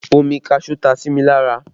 Omi kaṣuú ta si mi lára